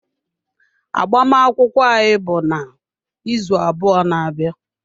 Agbamakwụkwọ anyị bụ n'izu abụọ na-abịa.